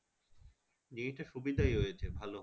জিনিসটা সুবিধাই হয়েছে ভালো